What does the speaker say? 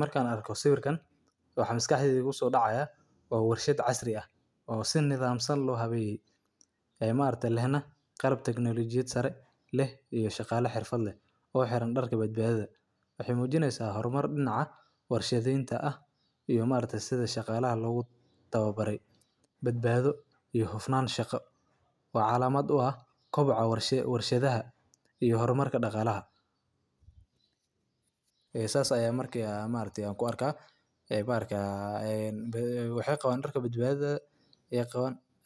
Marka arko sawirkan waxa maskahdeyda kuso daacaya waxa warshaad casrii ah oo si nidhamsan in lo haweye oo maarkte lehna qalab teknolijyaad qebta sare leh iyo hirfad iyo shaqo leh oo hiraan darka badbadatadha waxey mujiineysa warshadeynta ah iyo sidha shaqalaha lo tawa bare badbadho iyo hufnaan iyo shaqo oo calaamad uu ah kobucaa warshadaha iyo hormaarka daqaalaha saas aya marka ku arka ee waxey qawan darka badbadadha